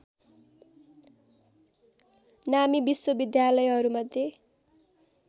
नामी विश्वविद्यालहरूमध्ये